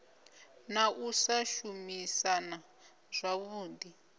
na u sa shumisana zwavhui